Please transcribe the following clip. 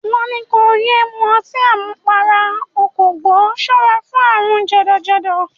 Wọ́n ní kó yé mu ọtí àmupara, o kò gbọ́; ṣọ́ra fún àrùn jẹ̀dọ̀-jẹ̀dọ̀.